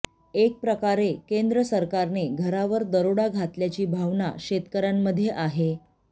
एक प्रकारे केंद्र सरकारने घरावर दरोडा घातल्याची भावना शेतकऱ्यांमध्ये आहे